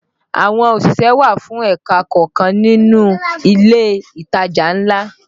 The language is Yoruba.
Àwọn òṣìṣẹ́ wà fún ẹ̀ka kọ̀ọ̀kan nínú ilé ìtajà ńlá